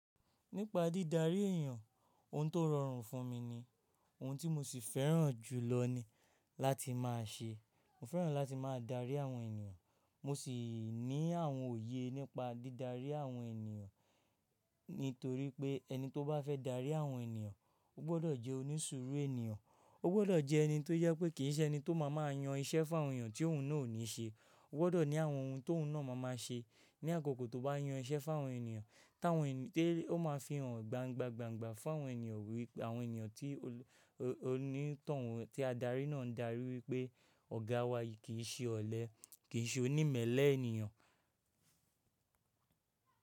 Nípa dídarí èèyàn, ohun tó rọrùn fún mi ni, ohun tí mo sì fẹ́ràn jùlọ ni láti máa ṣe. Mo fẹ́ràn láti máa darí àwọn ènìyàn, mo sì ní àwọn òye nípa dídarí àwọn ènìyàn. Nítorí pé ẹni tó bá fẹ́ darí àwọn ènìyàn, ó gbọdọ̀ jẹ́ onísùúrù ènìyàn. Ó gbọdọ̀ jẹ́ ẹni tó jẹ pé kì í ṣe ẹni tó máa máa yan iṣẹ́ fún àwọn ènìyàn tí òun náà ò ní ṣe. Ó gbọdọ̀ ní àwọn ohun t'òun náà máa máa ṣe ní àkókò tó bá yan iṣẹ́ fún àwọn ènìyàn, táwọn ènìyàn tí ó máa fi hàn gbàngba gbàngba fún àwọn ènìyàn wí pé àwọn ènìyàn tí oní tọ̀hún tí adarí náà ń darí wí pé ọ̀gá wa yìí kì í ṣe ọ̀lẹ, kì í ṣe onímẹ̀lẹ̀ ènìyàn.